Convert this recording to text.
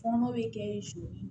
Fɔnɔ bɛ kɛ sɔ